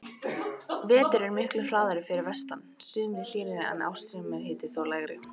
Vetur eru miklu harðari fyrir vestan, sumrin hlýrri en ársmeðalhiti þó lægri.